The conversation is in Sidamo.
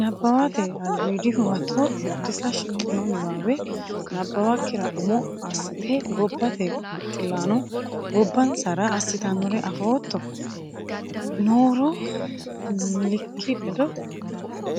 Nabbawate Albiidi Huwato Biddissa Shiqqino niwaawe nabbawakkira umo assite gobbate baxillaano gobbansara assitinore afootto(a)ri nooro